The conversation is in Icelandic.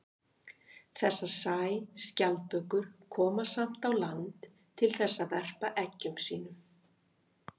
þessar sæskjaldbökur koma koma samt á land til þess að verpa eggjum sínum